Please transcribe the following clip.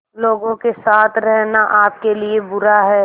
लोगों के साथ रहना आपके लिए बुरा है